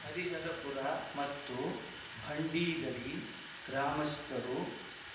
ಹರಿಹರಪುರ ಮತ್ತು ಭಂಡಿಗಡಿ ಗ್ರಾಮಸ್ಥರು